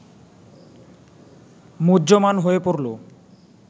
মুহ্যমান হয়ে পড়ল